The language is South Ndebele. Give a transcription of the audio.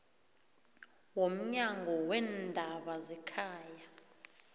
womnyango weendaba zekhaya